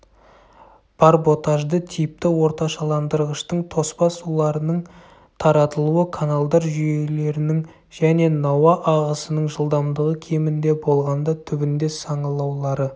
барботажды типті орташаландырғыштың тоспа суларының таратылуы каналдар жүйелерінің және науа ағысының жылдамдығы кемінде болғанда түбінде саңылаулары